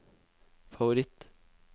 favoritt